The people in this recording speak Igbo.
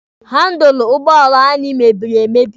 Handụlụ ụgbọala anyị mebiri emebi.